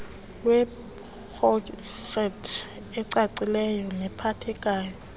lweeprojekthi ecakaciweyo nephathekayo